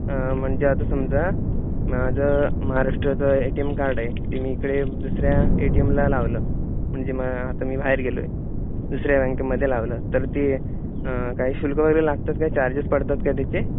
आं म्हणजे आता समजा माझं महाराष्ट्राचं एटीएम कार्ड आहे. ते मी इकडे दुसऱ्या एटीएम ला लावलं. म्हणजे आता मी बाहेर गेलोय. दुसऱ्या बँकेमध्ये लावलं तर ते आं काही शुल्क वगैरे लागतं का? काही चार्जेस पडतात का त्याचे?